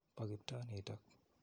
Po Kiptoo nitok.